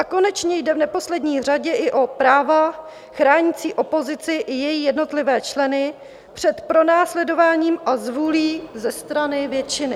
A konečně jde v neposlední řadě i o práva chránící opozici i její jednotlivé členy před pronásledováním a zvůlí ze strany většiny.